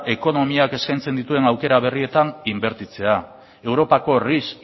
ekonomiak eskaintzen dituen aukera berrietan inbertitzea europako ris